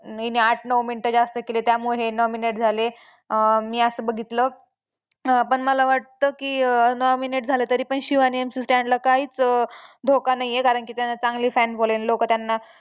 हिने आठ नऊ मिनिटं जास्त केले त्यामुळे हे nominate झाले. अं मी असं बघितलं अं पण मला वाटतं की अं nominate झालं तरीपण शिव आणि MC Stan ला काहीच धोका नाही आहे कारण की त्यानं चांगली fan following लोकं त्यांना